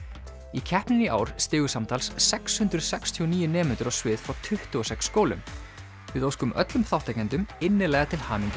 í keppninni í ár stigu samtals sex hundruð sextíu og níu nemendur á svið frá tuttugu og sex skólum við óskum öllum þátttakendum innilega til hamingju